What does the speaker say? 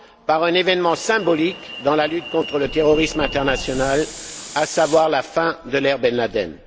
par un événement symbolique dans la lutte contre le terrorisme international, à savoir la fin de l'ère Ben Laden.